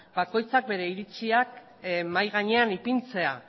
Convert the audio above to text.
bakoitzak bere iritziak mahai gainean ipintzea